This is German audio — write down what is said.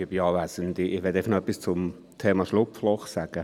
Ich möchte noch etwas zum Thema Schlupfloch sagen.